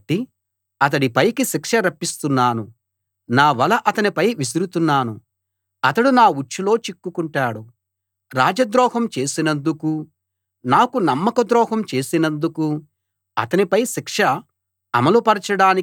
నా వల అతనిపై విసురుతున్నాను అతడు నా ఉచ్చులో చిక్కుకుంటాడు రాజద్రోహం చేసినందుకూ నాకు నమ్మకద్రోహం చేసినందుకూ అతనిపై శిక్ష అమలు పరచడానికి అతణ్ణి బబులోనుకి తీసుకు వెళ్తాను